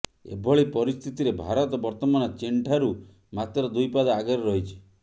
ଏଭଳି ପରିସ୍ଥିତିରେ ଭାରତ ବର୍ତ୍ତମାନ ଚୀନ୍ଠାରୁ ମାତ୍ର ଦୁଇ ପାଦ ଆଗରେ ରହିଛି